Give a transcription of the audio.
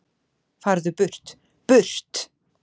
Farðu burt, BURT!